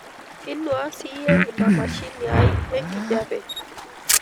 inuaa siyie ina mashini ai enkijape